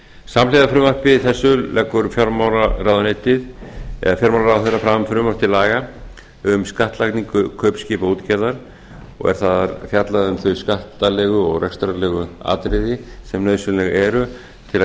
samhliða frumvarpi þessu leggur fjármálaráðherra fram frumvarp til laga um skattlagningu kaupskipaútgerðar og er þar að fjalla um þau skattalegu og rekstrarlegu atriði sem nauðsynleg eru til